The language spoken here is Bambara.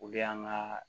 Olu y'an ka